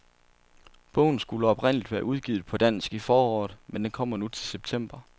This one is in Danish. Bogen skulle oprindeligt være udgivet på dansk i foråret, men den kommer nu til september.